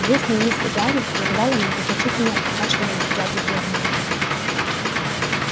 грустные мысли гарри прерывало многозначительное покашливание дяди вернона